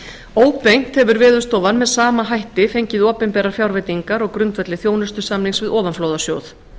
óbeint hefur veðurstofan með sama hætti fengið opinberar fjárveitingar á grundvelli þjónustusamnings við ofanflóðasjóð